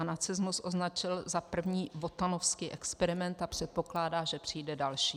A nacismus označil za první wotanovský experiment a předpokládá, že přijde další.